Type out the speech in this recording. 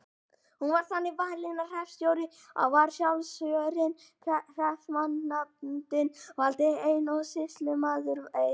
Hún var þannig valin að hreppstjóri var sjálfkjörinn, hreppsnefndin valdi einn og sýslumaður einn.